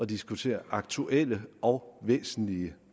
diskutere aktuelle og væsentlige